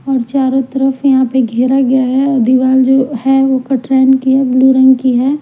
और चारों तरफ यहाँ पे घेरा गया है और दीवार जो है वो कठरैन की है ब्लू रंग की है।